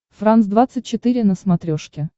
франс двадцать четыре на смотрешке